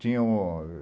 Tinha